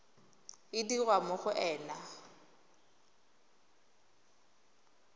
e dirwa mo go ena